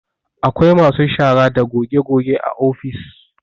Akwai masu shara da goge goge a ofis